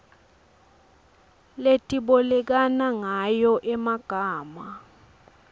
letibolekana ngayo emagama